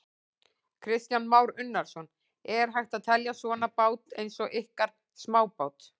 Kristján Már Unnarsson: Er hægt að telja svona bát eins og ykkar smábát?